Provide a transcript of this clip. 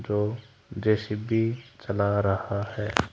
जो जो_सी_बी बी चला रहा है।